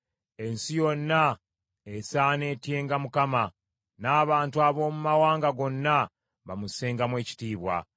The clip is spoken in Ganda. Ensi yonna esaana etyenga Mukama , n’abantu ab’omu mawanga gonna bamussengamu ekitiibwa;